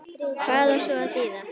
Hvað á svona að þýða